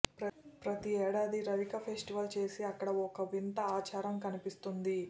ప్రతి ఏడాది రవిక ఫెస్టివల్ చేసి అక్కడ ఓ వింత ఆచారం కనిపిస్తుంది